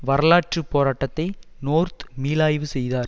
வரலாற்று போராட்டத்தை நோர்த் மீளாய்வு செய்தார்